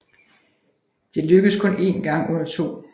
Det lykkedes kun én gang under 2